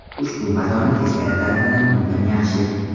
Ushbu matoni teskari tarafidan yuvgan yaxshi.